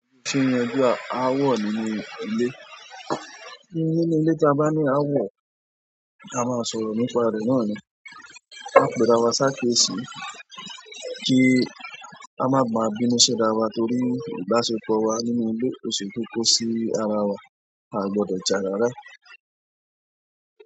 Oṣù ni ẹgbẹ́ aáwọ̀ nínú ilé. Nínú ilé tí a bá ní aáwọ̀, a máa sọ̀rọ̀ nípa rẹ̀ náà ni. Ká péra wa ṣá kíyèsi kí a máa máa bínú sí ra wa torí ìbáṣepọ̀ wa nínú ilé o ṣe kókó sí ara wa a gbọdọ jà rárá.